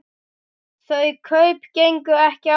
Þau kaup gengu ekki eftir.